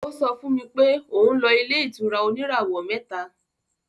Ó sọ fún mi pé òun lọ ilé-ìtura oníràwọ̀ mẹ́ta.